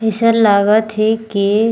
अइसन लागत हे की--